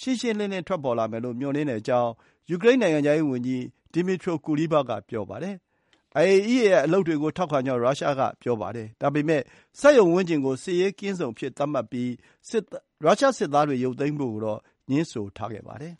ရှင်းရှင်း ထွက်ပေါ်လာမယ်လို့ မျှော်လင့်ကြောင်း ယူကရိန်း နိုင်ငံခြားရေးဝန်ကြီး Dmytro Kuleba က ပြောပါတယ်။ IAEA ရဲ့ အလုပ်တွေကို ထောက်ခံကြောင်း ရုရှားက ပြောပါတယ်။ ဒါပေမယ့် စက်ရုံဝန်းကျင်ကို စစ်ရေးကင်းဇုံသတ်မှတ်ပြီး ရုရှားစစ်သားတွေ ရုပ်သိမ်းဖို့ကိုတော့ ငြင်းဆိုထားပါတယ်